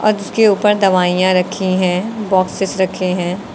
जिसके ऊपर दवाईयां रखी है बॉक्सेस रखे हैं।